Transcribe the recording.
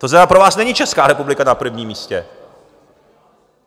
To znamená, pro vás není Česká republika na prvním místě.